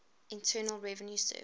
internal revenue service